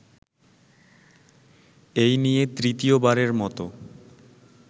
এই নিয়ে তৃতীয়বারের মত